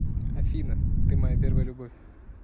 афина ты моя первая любовь